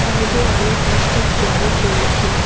সাইডে অনেক বৃষ্টির জল জমেছে।